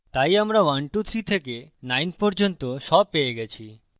তাই আমরা 1 2 3 থেকে 9 পর্যন্ত সব পেয়ে গেছি